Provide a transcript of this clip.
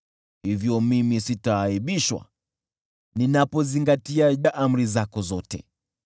Hivyo mimi sitaaibishwa ninapozingatia amri zako zote.